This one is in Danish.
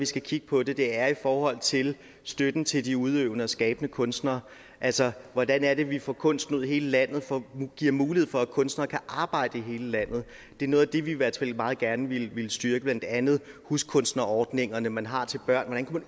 skal kigge på det er i forhold til støtten til de udøvende og skabende kunstnere altså hvordan er det vi får kunsten ud i hele landet og giver mulighed for at kunstnere kan arbejde i hele landet det er noget af det vi i hvert fald meget gerne vil vil styrke blandt andet huskunstnerordningerne man har til børn hvordan kunne